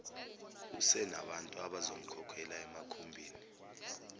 usenabantu abazomkhokhela emakhumbini